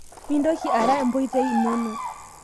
Mintoki ara omboitei inono